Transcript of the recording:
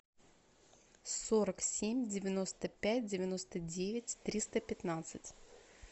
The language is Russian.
сорок семь девяносто пять девяносто девять триста пятнадцать